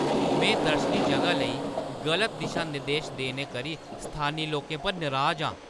मैं दर्शनी जगह लेई गलत दिशा-निर्देश देने करी स्थानी लोकें पर नराज हा।